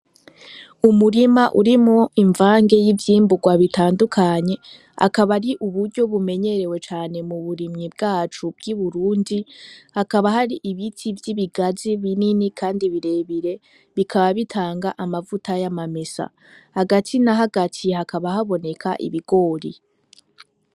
Umurima urimo imvange y'ivyimburwa bitandukanye akaba ari uburyo bumenyerewe cane mu burimyi bwacu bw'i burundi hakaba hari ibiti vy'ibigazi binini, kandi birebire bikaba bitanga amavuta y'amamesa hagati na hagatiye hakaba hoaboneka ibigori wi.